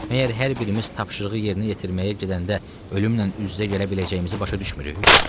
Məyər hər birimiz tapşırığı yerinə yetirməyə gedəndə ölümlə üz-üzə gələ biləcəyimizi başa düşmürük?